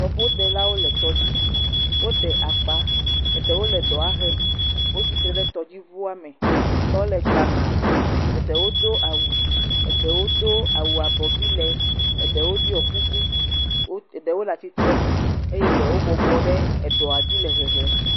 Tɔƒo delawo le tɔdzi, wo ɖe akpa, eɖewo le ɖɔa hem, wo tsitre ɖe tɔdzi ʋuame, etɔ le gbana, eɖewo do awu, eɖewo do awu abɔvi lee, eɖewo ɖiɔ kuku, eɖewo le atitre nu eye ɖewo bɔbɔ ɖe eɖɔa dzi le hehem.